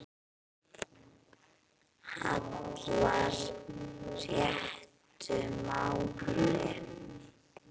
hallar réttu máli.